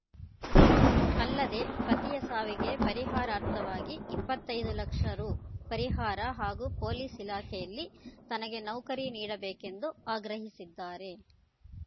ಅಲ್ಲದೆ ಪತಿಯ ಸಾವಿಗೆ ಪರಿಹಾರಾರ್ಥವಾಗಿ ಇಪ್ಪತ್ತೈದು ಲಕ್ಷ ರು ಪರಿಹಾರ ಹಾಗೂ ಪೊಲೀಸ್‌ ಇಲಾಖೆಯಲ್ಲಿ ತನಗೆ ನೌಕರಿ ನೀಡಬೇಕೆಂದು ಆಗ್ರಹಿಸಿದ್ದಾರೆ